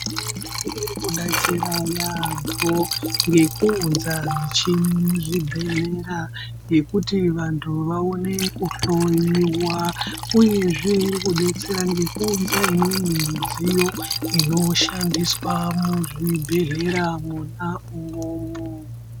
Hurumende iri kubetsera yaembo nekuunza mishini muzvibhedhlera yekuti vantu vaone kuhloyiwa uyee zvee kubetsera kuunza imweni midziyo inoshandiswa muzvibhedhlera mwona imwomo.